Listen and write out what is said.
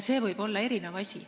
See võib olla erinev.